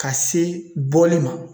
Ka se bɔli ma